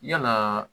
Yalaa